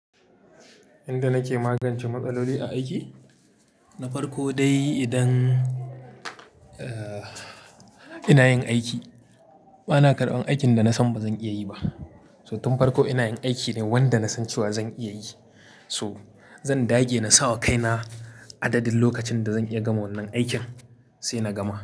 Yanda nake magance matsaloli a aiki, na farko dai idan, ina yin aiki, bana karɓan aikin da nasan bazan iya yi ba. So tun farko ina yin aiki ne wanda nasan cewa zan iya yi. To zan dage na sa wa kaina adadin lokacin da zan iya gama wannan aikin sai na gama.